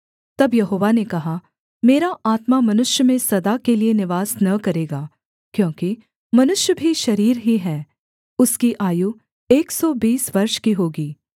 तब यहोवा ने कहा मेरा आत्मा मनुष्य में सदा के लिए निवास न करेगा क्योंकि मनुष्य भी शरीर ही है उसकी आयु एक सौ बीस वर्ष की होगी